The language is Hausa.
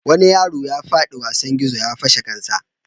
Wani yaro ya fadi daga wasan gizo ya fashe kansa.